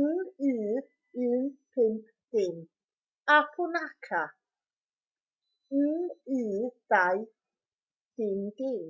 nu 150 a punakha nu 200